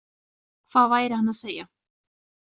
Hvað væri hann að segja?